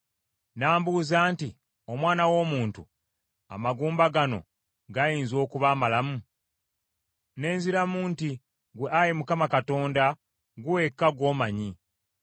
N’ambuuza nti, “Omwana w’omuntu, amagumba gano gayinza okuba amalamu?” Ne nziramu nti, “Ggwe Ayi Mukama Katonda, ggwe wekka gw’omanyi.”